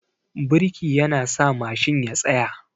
Birki yana sa Mashin ya tsaya